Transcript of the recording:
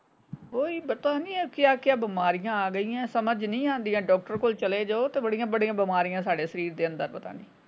ਓਹੀ ਪਤਾ ਨਹੀਂ ਇਹ ਕਿਆ ਕਿਆ ਬਿਮਾਰੀਆਂ ਆ ਗਈਆਂ ਸਮਝ ਨਹੀਂ ਆਉਂਦੀਆਂ ਡਾਕਟਰ ਕਲ ਚਲੇ ਜਾਓ ਤੇ ਬੜੀਆਂ ਬੜੀਆਂ ਬਿਮਾਰੀਆਂ ਸਾਡੇ ਸਰੀਰ ਦੇ ਅੰਦਰ।